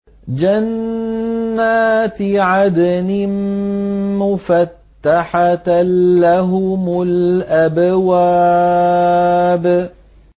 جَنَّاتِ عَدْنٍ مُّفَتَّحَةً لَّهُمُ الْأَبْوَابُ